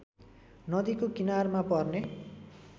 नदीको किनारमा पर्ने